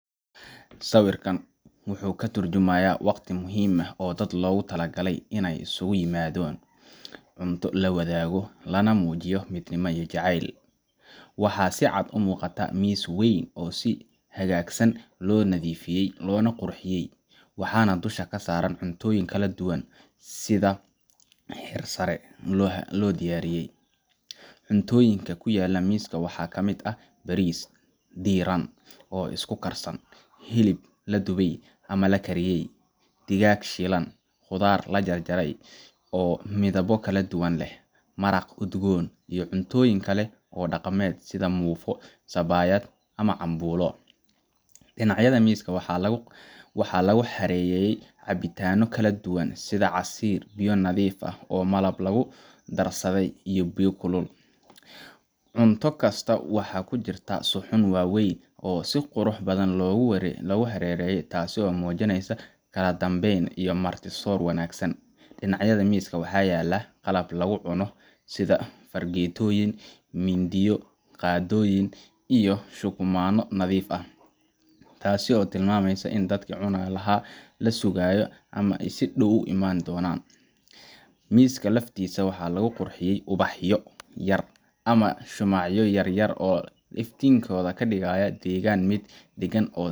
Sawirkan wuxuu ka turjumayaa waqti muhiim ah oo dad loogu talagalay in la isugu yimaadon, cunto la wadaago, lana muujiyo midnimo iyo jacayl. Waxaa si cad u muuqata miis weyn oo si hagaagsan loo nadiifiyey, loona qurxiyey, waxaana dusha saaran cuntooyin kala duwan oo sida heersare ah loo diyaariyey. Cuntooyinka ku yaalla miiska waxaa ka mid ah: bariis diiran oo isku-karsan, hilib la dubay ama la kariyey, digaag shiilan, khudaar la jarjaray oo midabo kala duwan leh, maraq udgoon, iyo cuntooyin kale oo dhaqameed sida muufo, sabaayad, ama cambuulo. Dhinacyada miiska waxaa lagu xareeyey cabbitaanno kala duwan sida casiir, biyo nadiif ah iyo malab lagu darsaday biyo kulul. Cunto kasta waxay ku jirtaa suxuun waaweyn oo si qurux badan loogu kala xareeyey, taasoo muujinaysa kala dambeyn iyo marti-soor wanaagsan. Dhinacyada miiska waxaa yaal qalab wax lagu cuno sida fargeetooyin, mindiyo, qaadooyin iyo shukumanno nadiif ah, taas oo tilmaamaysa in dadkii cuni lahaa la sugayo ama ay si dhow u imaan donan Miiska laftiisa waxaa lagu qurxiyey ubaxyo yaryar ama shumacyo yar yar oo iftiinkooda ka dhigaya